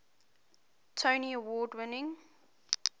tony award winning